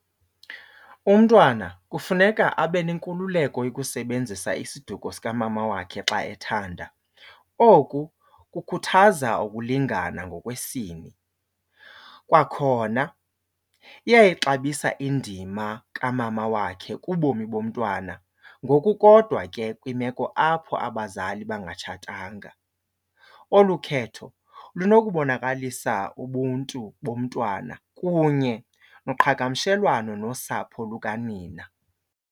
Umntwana kufuneka abe nenkululeko yokusebenzisa isiduko sikamama wakhe xa ethanda. Oku kukhuthaza ukulingana ngokwesini. Kwakhona iyayixabisa indima kamama wakhe kubomi bomntwana ngokukodwa ke kwimeko apho abazali bangatshatanga. Olu khetho lunokubonakalisa ubuntu bomntwana kunye noqhagamshelwano nosapho lukanina.